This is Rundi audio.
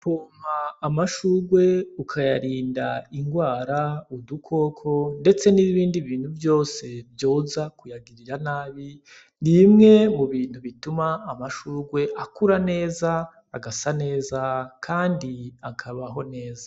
Gupompa amashurwe ukayarinda ingwara , udukoko, ndetse n'ibindi bintu vyose vyoza kuyagirira nabi ,n'imwe mubintu bituma amashurwe akura neza, agasa neza ,kandi akabaho neza.